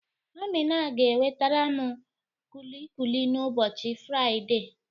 Amina ga-ewetaram kulikuli n'ụbọchị Faịde